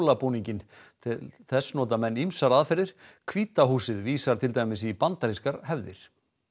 jólabúninginn til þess nota menn ýmsar aðferðir hvíta húsið vísar til dæmis í bandarískar hefðir